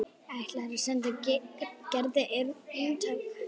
Ætlar að senda Gerði eintak.